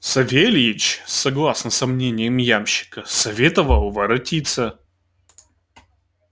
савельич согласно со мнением ямщика советовал воротиться